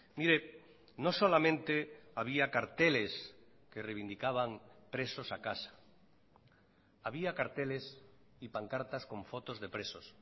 mire no solamente había carteles que reivindicaban presos a casa había carteles y pancartas con fotos de presos